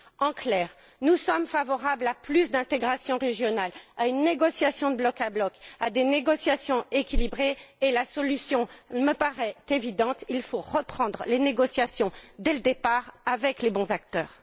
En clair, nous sommes favorables à plus d'intégration régionale, à une négociation de bloc à bloc, à des négociations équilibrées, et la solution me paraît évidente il faut reprendre les négociations depuis le début, avec les bons acteurs.